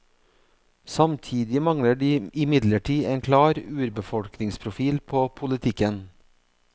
Samtidig mangler de imidlertid en klar urbefolkningsprofil på politikken.